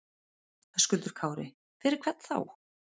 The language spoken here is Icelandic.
Höskuldur Kári: Fyrir hvern þá?